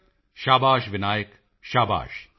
ਮੋਦੀ ਜੀ ਸ਼ਾਬਾਸ਼ ਵਿਨਾਇਕ ਸ਼ਾਬਾਸ਼